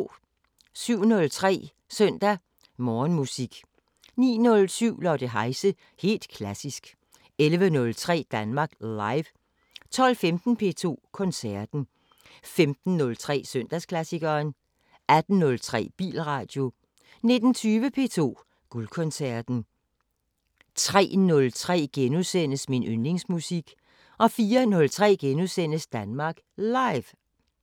07:03: Søndag Morgenmusik 09:07: Lotte Heise – helt klassisk 11:03: Danmark Live 12:15: P2 Koncerten 15:03: Søndagsklassikeren 18:03: Bilradio 19:20: P2 Guldkoncerten 03:03: Min yndlingsmusik * 04:03: Danmark Live *